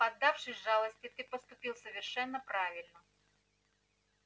поддавшись жалости ты поступил совершенно правильно